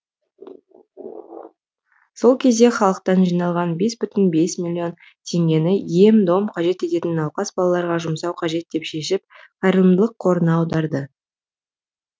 сол кезде халықтан жиналған бес бүтін бес миллион теңгені ем дом қажет ететін науқас балаларға жұмсау қажет деп шешіп қайырымдылық қорына аударды